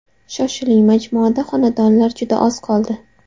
Shoshiling, majmuada xonadonlar juda oz qoldi.